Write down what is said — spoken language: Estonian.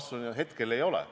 Vastus on, et hetkel ei ole.